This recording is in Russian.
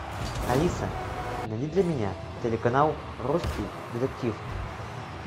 алиса найди для меня телеканал русский детектив